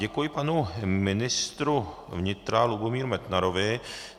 Děkuji panu ministru vnitra Lubomíru Metnarovi.